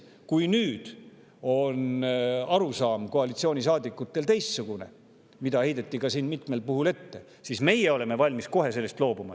Kui nüüd on koalitsioonisaadikutel arusaam teistsugune – seda heideti siin ka mitmel puhul ette –, siis meie oleme kohe valmis sellest loobuma.